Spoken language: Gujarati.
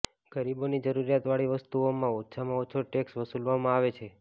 ગરીબોની જરૂરિયાતવાળી વસ્તુઓમાં ઓછામાં ઓછો ટેક્સ વસુલવામાં આવે છે